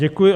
Děkuji.